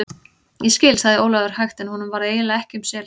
Ég skil, sagði Jón Ólafur hægt en honum varð eiginlega ekki um sel.